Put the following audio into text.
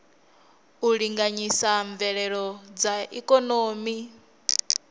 u linganyisa mveledziso ya ikonomi